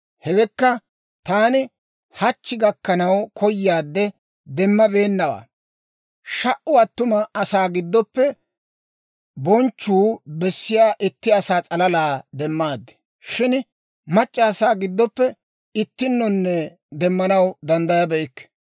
Hewekka, taani hachchi gakkanaw koyaadde demmabeennawaa. Sha"u attuma asaa giddoppe bonchchuu bessiyaa itti asaa s'alalaa demmaad; shin mac'c'a asaa giddoppe ittinnonne demmanaw danddayabeykke.